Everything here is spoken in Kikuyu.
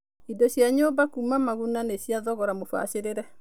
Indo cia nyũmba kuuma Maguna nĩ cia thogora mũbacĩrĩre.